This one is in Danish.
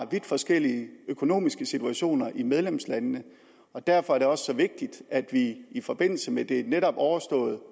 vidt forskellige økonomiske situationer i medlemslandene derfor er det også så vigtigt at vi i forbindelse med det netop overståede